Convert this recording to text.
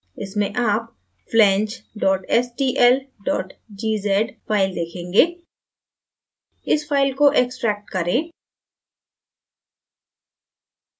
इसमें आप flange stl gz file देखेंगे इस फाइल को extract करें